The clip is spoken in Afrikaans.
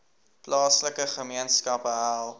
plaaslike gemeenskappe help